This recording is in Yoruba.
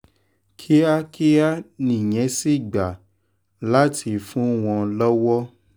kíákíá nìyẹn sì gbà láti fún wọn lọ́wọ́